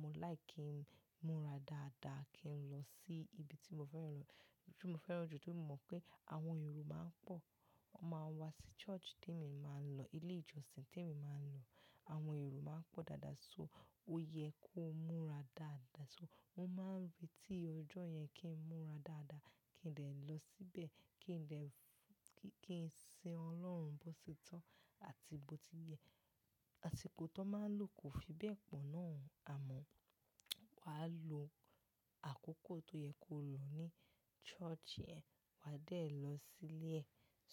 mo like kí n múra dáadáa kí n lọ sí ibi tí mo fẹ́ràn lọ-- tí mo fẹ́ràn jù torí mo mọ̀ pé àwọn èrò máa ń pọ̀. Wọ́n máa ń wá sí church tí èmi máa ń lọ, ilé ìjọsìn tí èmi máa ń lọ. Àwọn èrò máa ń pọ̀ dáadáa, so ó yẹ kó múra dáadáa. So mo máa ń retí ọjọ́ yẹn kí n múra dáadáa, kí n dè lọ síbẹ̀, kí n dè f- kí, kí n sin Ọlọ́run bó ti tó àti bó ti yẹ àsìkò tọ́ máa ń lò kò fi bẹ́ẹ̀ pọ̀ náà, àmọ́ wàá lo àkókò tó yẹ kó lò ní church yẹn, wàá dè lọ sílé ẹ.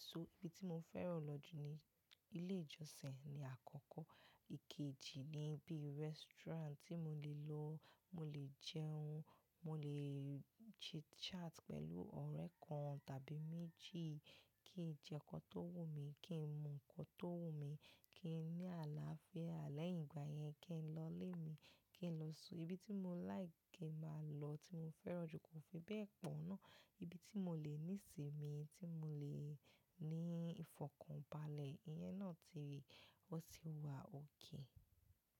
So ibi tí mo fẹ́ràn lọ jù ni ilé ìjọsìn ni àkọ́kọ́. Ìkéji ni bíi restaurant tí mo lè lọ, mo lè jẹun, mo lè chit-chat pẹ̀lú ọ̀rẹ́ kan tàbí méjì, kí n jẹ nǹkan tó wù mí, kí n mu nǹkan tó wù mí, kí n ní àlàáfíà lẹ́yìn ìgbà yẹn kí n lọ ilé mi, kí n lọ su. Ibi tí mo like kí n máa lọ tí mo fẹ́ràn jù kò fi bẹ́ẹ̀ pọ̀ náà. Ibi tí mo lè ní ìsìn mi, tí mo lè ní ìfọ̀kànbalẹ̀, ìyẹn náà ti rí, ó ti wà okay.